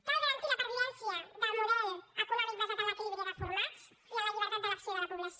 cal garantir la pervivència del model econòmic basat en l’equilibri de formats i en la llibertat d’elec·ció de la població